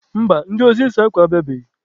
Mba, ndị ozi ịsa akwa abịabeghị.